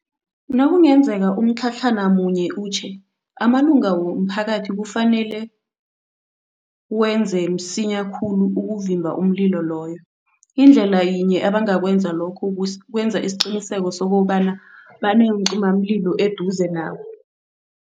Nakungenzeka umtlhatlhana munye utjhe, amalunga womphakathi kufanele wenze msinya khulu ukuvimba umlilo loyo. Indlela yinye abangakwenza lokhu kukwenza isiqiniseko sokobana baneencimamlilo eduze nabo.